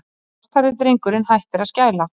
Svarthærði drengurinn hættir að skæla.